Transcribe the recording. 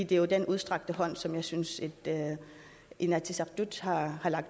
det er jo den udstrakte hånd som jeg synes inatsisartut har